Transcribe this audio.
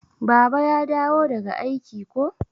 Baba ya dawo daga aiki ko?